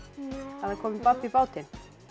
að það komi babb í bátinn